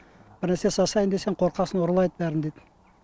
бірнәрсе жасайын десең қорқасың ұрлайды бәрін дейді